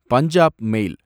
பஞ்சாப் மேல்